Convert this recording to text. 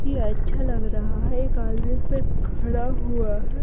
ये अच्छा लग रहा है एक आदमी इस पे खड़ा हुआ है।